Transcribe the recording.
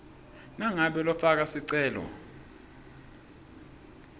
nangabe lofaka sicelo